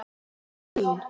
Marta mín.